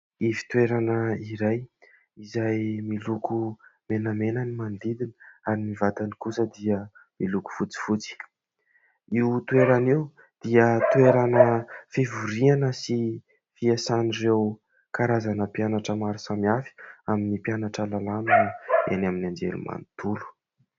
Ivon-toerana iray izay miloko menamena ny manodidina ary ny vatany kosa dia miloko fotsifotsy. Io toerana io dia toerana fivoriana sy fiasan'ireo karazana mpianatra maro samihafa amin'ny mpianatra lalàna eny amin'ny anjerimanontolo.